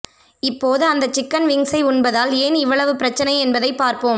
இப்போது அந்த சிக்கன் விங்ஸை உண்பதால் ஏன் இவ்வளவு பிரச்சனை என்பதை பார்ப்போம்